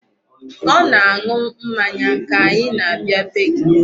Ọ na-aṅụ mmanya ka anyi na-abịa bee gị.